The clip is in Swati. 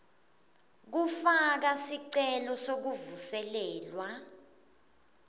kufaka sicelo sekuvuselelwa